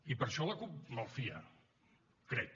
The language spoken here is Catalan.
i per això la cup malfia crec